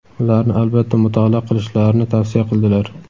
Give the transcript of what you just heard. ularni albatta mutolaa qilishlarini tavsiya qildilar.